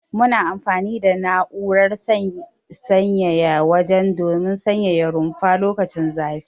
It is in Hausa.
Muna amfani da na'urar sanyaya waje don sanyaya rumfa lokacin zafi.